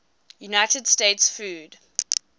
united states food